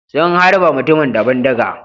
Sun harbe mutumin da bindiga.